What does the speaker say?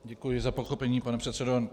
Děkuji za pochopení, pane předsedo.